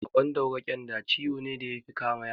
Baƙon dauro (ƙyanda) ciwo ne da yafi kama yara